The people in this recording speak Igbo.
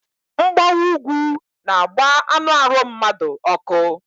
Mgbawa úgwú n'agba anụ arụ mmadu ọkụ